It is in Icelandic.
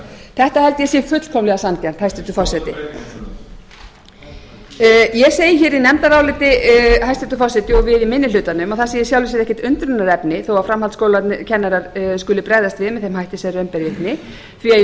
þetta held ég að sé fullkomlega sanngjarnt hæstvirtur forseti breytingartillögu ég segi í nefndaráliti hæstvirtur forseti og við í minni hlutanum að það sé í sjálfu sér ekkert undrunarefni þó að framhaldsskólakennarar skuli bregðast við með þeim hætti sem raun ber vitni því í